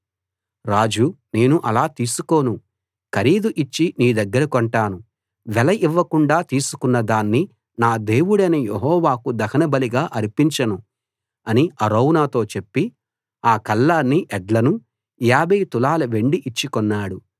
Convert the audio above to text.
రాజు నేను అలా తీసుకోను ఖరీదు ఇచ్చి నీ దగ్గర కొంటాను వెల ఇవ్వకుండా తీసుకున్న దాన్ని నా దేవుడైన యెహోవాకు దహనబలిగా అర్పించను అని అరౌనాతో చెప్పి ఆ కళ్ళాన్నీ ఎడ్లనూ 50 తులాల వెండి ఇచ్చి కొన్నాడు